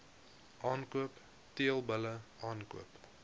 aankoop teelbulle aankoop